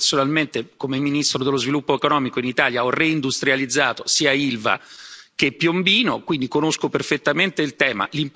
Io, personalmente, come ministro dello Sviluppo economico in Italia, ho reindustrializzato sia Ilva che Piombino, quindi conosco perfettamente il tema.